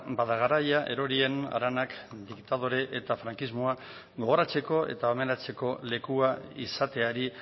ba da garaia erorien haranak diktadore eta frankismoa gogoratzeko eta homenatzeko lekua izateari